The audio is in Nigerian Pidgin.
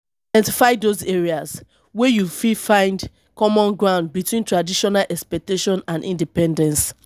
identify those areas wey you fit find common ground between traditional um expectation and independence